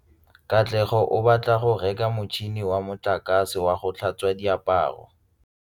Katlego o batla go reka motšhine wa motlakase wa go tlhatswa diaparo.